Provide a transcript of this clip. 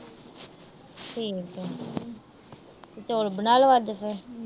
ਠੀਕ ਆ। ਚੌਲ ਬਣਾ ਲੋ ਅੱਜ ਫਿਰ।